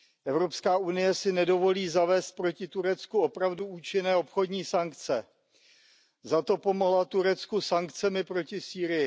EU si nedovolí zavést proti Turecku opravdu účinné obchodní sankce, zato pomohla Turecku sankcemi proti Sýrii.